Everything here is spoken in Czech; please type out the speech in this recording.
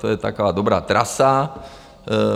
To je taková dobrá trasa.